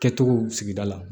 Kɛcogo sigida la